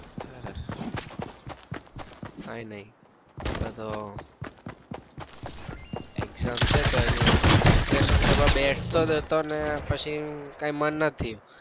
સરસ કાંઈ નઈ આપડે તો exam છે તો એની preparation કરવા બેસતો હતો જ ને પછી કઈ માં ના થયું.